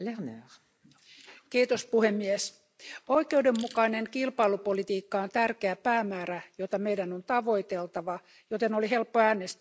Arvoisa puhemies, oikeudenmukainen kilpailupolitiikka on tärkeä päämäärä, jota meidän on tavoiteltava, joten oli helppo äänestää mietinnön puolesta.